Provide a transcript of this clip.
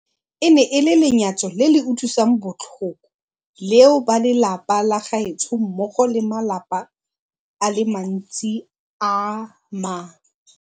E ne e le lenyatso le le utlwisang botlhoko leo ba lelapa la gaetsho mmogo le ba malapa a le mantsi a ma